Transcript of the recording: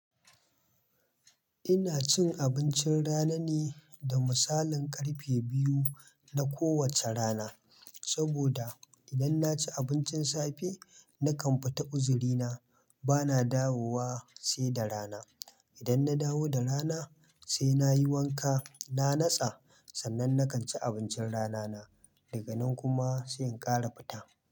Ina cin abincin rana ne da misalin karfe biyu na kowacce rana, saboda idan na ci abincin safe, na kam fita uzurina, bana dawowa sai da rana. Idan na dawo da rana sai na yi wanka, na natsa, sannan na kan ci abincin rana na, daga nan kuma sai in ƙara fita.